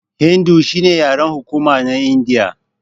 Hindu shine yaren hukuma na Indiya.